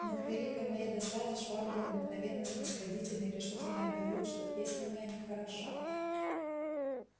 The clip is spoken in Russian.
но к великой моей досаде швабрин обыкновенно снисходительный решительно объявил что песня моя нехороша